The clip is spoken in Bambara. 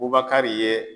Bubakari ye